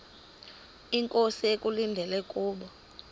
inkosi ekulindele kubo